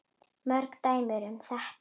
Mörg dæmi er um þetta.